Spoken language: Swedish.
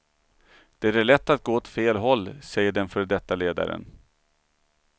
Det är lätt att gå åt fel håll, säger den före detta ledaren.